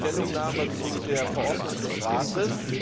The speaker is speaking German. die Stellungnahme zu der Verordnung des Rates.